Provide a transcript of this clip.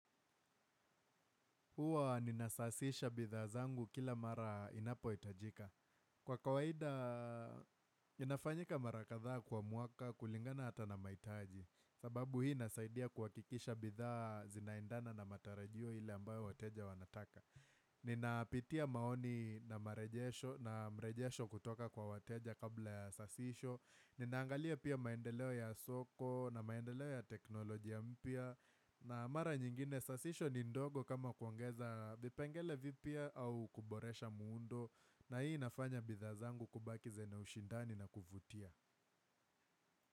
Huwa ninasasisha bidhaa zangu kila mara inapoitajika. Kwa kawaida, inafanyika marakadhaa kwa mwaka kulingana hata na maitaji. Sababu hii nasaidia kuhakikisha bidhaa zinaendana na matarajio ile ambayo wateja wanataka. Ninapitia maoni na mrejesho kutoka kwa wateja kabla ya sasisho. Ninaangalia pia maendeleo ya soko na maendeleo ya teknolojia mpya. Na mara nyingine sasisho ni ndogo kama kuongeza vipengele vipya au kuboresha muundo. Na hii inafanya bidhaa zangu kubaki zenye ushindani na kuvutia.